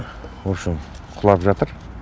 в общем құлап жатыр